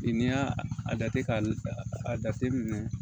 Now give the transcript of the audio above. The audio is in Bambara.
I n'i y'a a jate k'a jateminɛ